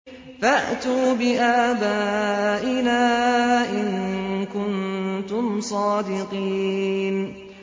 فَأْتُوا بِآبَائِنَا إِن كُنتُمْ صَادِقِينَ